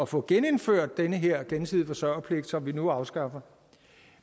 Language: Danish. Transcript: få genindført den her gensidige forsørgerpligt som vi nu afskaffer